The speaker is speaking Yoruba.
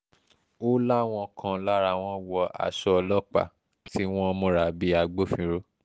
ó láwọn kan lára wọn wọ aṣọ ọlọ́pàá tí wọ́n múra bíi agbófinró